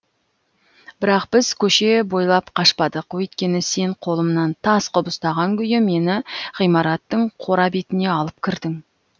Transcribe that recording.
бірақ біз көше бойлап қашпадық өйткені сен қолымнан тас қып ұстаған күйі мені ғимараттың қора бетіне алып кірдің